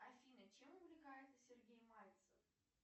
афина чем увлекается сергей мальцев